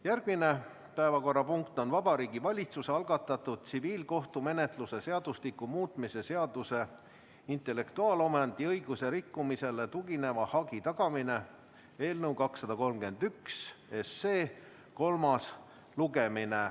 Järgmine päevakorrapunkt on Vabariigi Valitsuse algatatud tsiviilkohtumenetluse seadustiku muutmise seaduse eelnõu 231 kolmas lugemine.